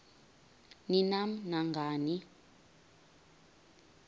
ni nam nangani